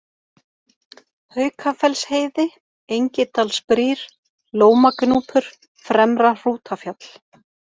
Haukafellsheiði, Engidalsbrýr, Lómagnúpur, Fremra-Hrútafjall